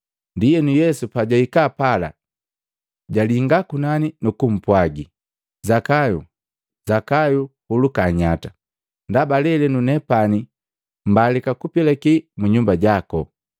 Ndienu, Yesu pajahikaa pala, jalinga kunani, nukumpwagi Zakayu, “Zakayu huluka nyata, ndaba lelenu nepani mbalika kupilaki mu nyumba jako.”